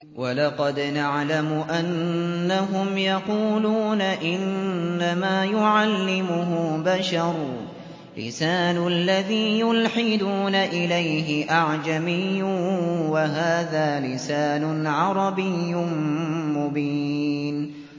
وَلَقَدْ نَعْلَمُ أَنَّهُمْ يَقُولُونَ إِنَّمَا يُعَلِّمُهُ بَشَرٌ ۗ لِّسَانُ الَّذِي يُلْحِدُونَ إِلَيْهِ أَعْجَمِيٌّ وَهَٰذَا لِسَانٌ عَرَبِيٌّ مُّبِينٌ